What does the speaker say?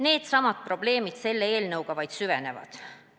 Needsamad probleemid selle eelnõuga vaid süvenevad.